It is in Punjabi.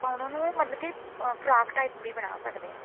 ਫਿਰ ਆਪਾਂ ਉਹਨਾਂ ਨੂੰ ਮਤਲਬ ਕਿ ਫਰਾਕ type ਵੀ ਬਣਾ ਸਕਦੇ ਹਾਂ